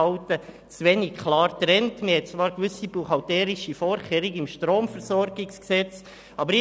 Zwar gibt es gewisse buchhalterische Vorkehrungen im Bundesgesetz über die Stromversorgung (Stromversorgungsgesetz, StromVG).